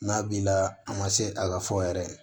N'a b'i la a ma se a ka fɔ yɛrɛ